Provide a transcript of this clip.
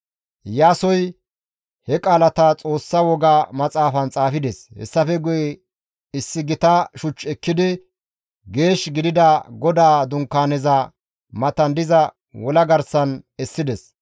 Iyaasoy he qaalata Xoossa Woga Maxaafan xaafides. Hessafe guye issi gita shuch ekkidi Geesh gidida GODAA Dunkaaneza matan diza wola garsan essides.